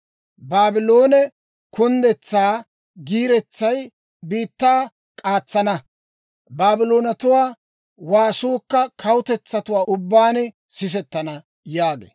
Baabloone kunddetsaa giiretsay biittaa k'aatsana; Baabloonatuwaa waasuukka kawutetsatuwaa ubbaan sisettana» yaagee.